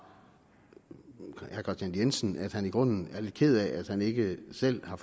herre kristian jensen at han i grunden er lidt ked af at han ikke selv har